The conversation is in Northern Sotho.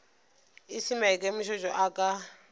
e se maikemišetšo a ka